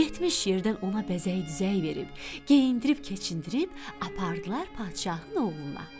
Yetmiş yerdən ona bəzək-düzək verib, geyindirib-keçindirib apardılar padşahın oğluna.